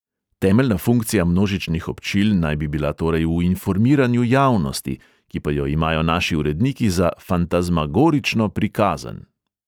Temeljna funkcija množičnih občil naj bi bila torej v informiranju javnosti, ki pa jo imajo naši uredniki za "fantazmagorično prikazen".